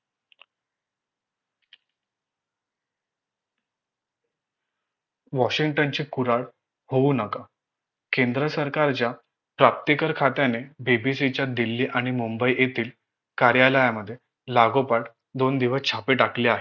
वॉशिंग्टनचे कुराळ होऊ नका केंद्र सरकारच्या प्राप्तिकर खात्याने BBC च्या दिल्ली आणि मुंबई येथील कार्यालयामध्ये लागोपाठ दोन दिवस छापे टाकले आहेत